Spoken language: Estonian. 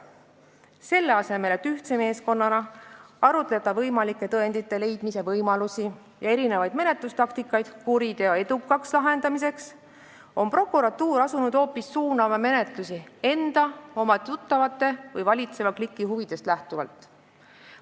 Selle asemel et ühtse meeskonnana arutleda võimalike tõendite leidmise võimaluste ja erinevate menetlustaktikate üle, et saaks kuriteo edukalt lahendatud, on prokuratuur asunud suunama menetlusi hoopis enda, oma tuttavate või valitseva kliki huvidest lähtuvalt.